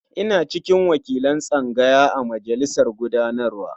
Ina cikin wakilan tsangaya a majalisar gudanarwa.